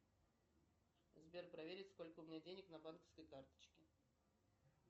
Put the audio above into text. сбер проверить сколько у меня денег на банковской карточке